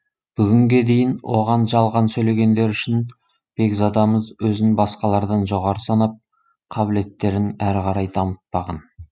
бүгінге дейін оған жалған сөйлегендері үшін бекзадамыз өзін басқалардан жоғары санап қабілеттерін әрі қарай дамытпаған